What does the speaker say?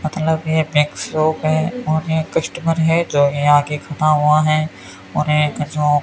मतलब ये textbook हैं और ये कस्टमर है जो यहां आके खड़ा हुआ है और एक जो --